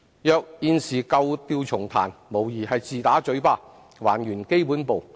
如現時舊調重彈，無疑是自打嘴巴，還原基本步。